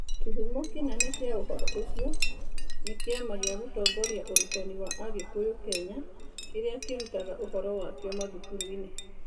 Kĩhumo kĩnene kĩa ũhoro ũcio nĩ Kĩama gĩa Gũtongoria Ũrutani wa Agĩkũyũ Kenya (NEMIS) kĩrĩa kĩrutaga ũhoro wakio mathukuru-inĩ.